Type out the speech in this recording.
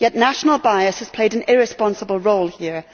However, national bias has played an irresponsible role here.